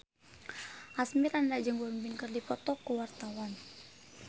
Asmirandah jeung Won Bin keur dipoto ku wartawan